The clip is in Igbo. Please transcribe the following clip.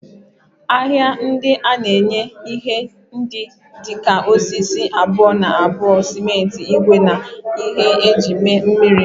Ahịa ndị a na-enye ihe ndị dị ka osisi abuo-na-abuo, simenti, ígwè, na ihe eji eme mmiri.